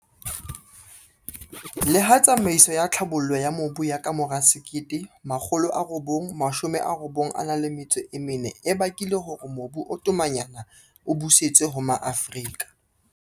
Leha tsamaiso ya tlhabollo ya mobu ya kamora 1994 e bakile hore mobu o tomanyana o busetswe ho Maafrika.